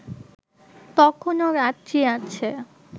তখনও রাত্রি আছে